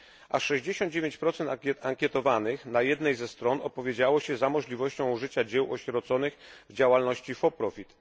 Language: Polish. Aż 69 ankietowanych na jednej ze stron opowiedziało się za możliwością użycia dzieł osieroconych w działalności for profit